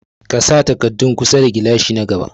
Ka sa takardu kusa da gilashi na gaba.